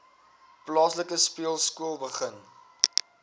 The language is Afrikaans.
plaaslike speelskool begin